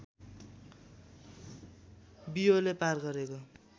बियोले पार गरेको